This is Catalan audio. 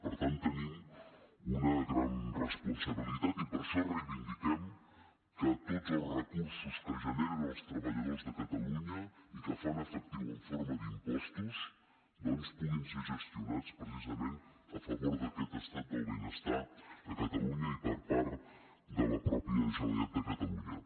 per tant tenim una gran responsabilitat i per això reivindiquem que tots els recursos que generen els treballadors de catalunya i que fan efectiu en forma d’impostos doncs puguin ser gestionats precisament a favor d’aquest estat del benestar a catalunya i per part de la mateixa generalitat de catalunya